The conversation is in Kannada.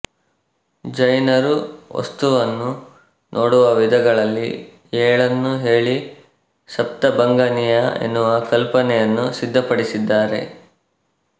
ಜೈನರು ವಸ್ತುವನ್ನು ನೋಡುವ ವಿಧಗಳಲ್ಲಿ ಏಳನ್ನು ಹೇಳಿ ಸಪ್ತಭಂಗನೀಯ ಎನ್ನುವ ಕಲ್ಪನೆಯನ್ನು ಸಿದ್ಧಪಡಿಸಿದ್ದಾರೆ